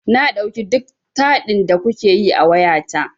Na ɗauki duk taɗin da kuke yi a wayata.